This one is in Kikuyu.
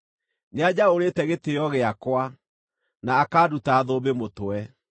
Nĩanjaũrĩte gĩtĩĩo gĩakwa, na akanduta thũmbĩ mũtwe.